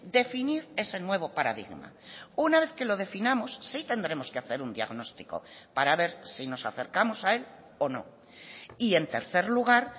definir ese nuevo paradigma una vez que lo definamos sí tendremos que hacer un diagnóstico para ver si nos acercamos a él o no y en tercer lugar